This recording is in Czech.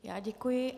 Já děkuji.